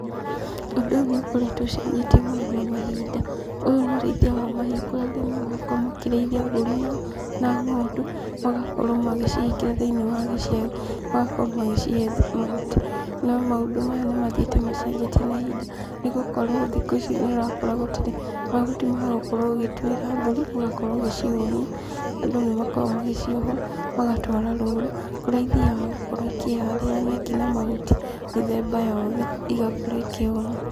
Ũndũ ũyũ nĩũkoretwo ũcenjetie mũno na mahinda. Ũyũ nĩ ũrĩithia wa mahiũ kũrĩa arĩmi marakorwo makĩrĩithia mbũri na ng'ondu, magakorwo magĩcihingĩra thĩiniĩ wa gĩcegũ, magakorwo magĩcihe mahuti. No maũndũ maya nĩmathiĩte macenjetie na ihinda, nĩgũkorwo thikũ ici nĩũrakora gũtirĩ mahuti ma gũkorwo ũgĩtwĩra mbũri ũgakorwo ũgĩcihũnia, andũ nĩmakoragwo magĩciohora magatwara rũũru, kũrĩa ithiaga gũkorwo ikĩharĩra nyeki na mahuti mĩthemba yothe, igakorwo ikĩhũna.